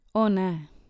O, ne.